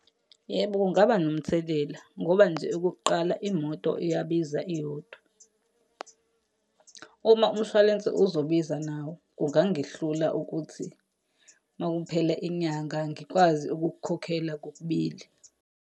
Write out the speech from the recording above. Yebo, kungaba nomthelela, ngoba nje okokuqala imoto iyabiza iyodwa. Uma umshwalense uzobiza nawo, kungangihlula ukuthi uma kuphela inyanga ngikwazi ukukukhokhela kokubili.